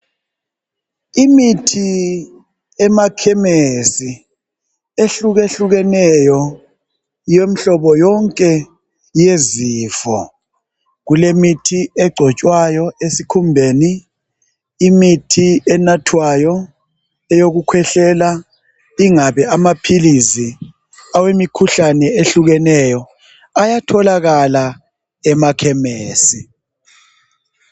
Imithi emakhemesi, ehlukehlukeneyo. Yomhlobo yonke yezifo. Kulemithi egcotshwayo esikhumbeni. Imithi enathwayo. Yokukhwehlela. Ingabe amaphilizi, emihlobo yonke, ehlukeneyo! Ayatholakala emakhemesi.